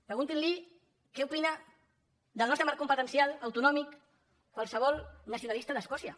preguntin li què opina del nostre marc competencial autonòmic a qualsevol nacionalista d’escòcia